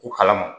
Ko kalama